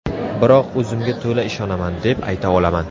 Biroq o‘zimga to‘la ishonaman, deb ayta olaman.